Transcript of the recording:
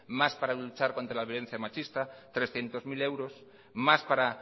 más para luchar contra la violencia machista trescientos mil euros más para